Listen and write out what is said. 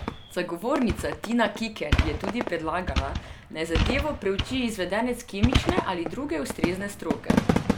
Zagovornica Tina Kikelj je tudi predlagala, naj zadevo preuči izvedenec kemične ali druge ustrezne stroke.